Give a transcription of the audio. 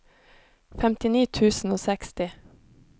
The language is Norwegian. femtini tusen og seksti